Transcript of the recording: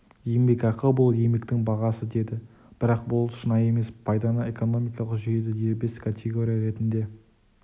еңбекақы бұл еңбектің бағасы деді бірақ бұл шынайы емес пайданы экономикалық жүйеде дербес категория ретінде